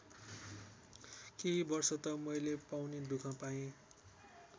केही वर्ष त मैले पाउनु दुःख पाएँ।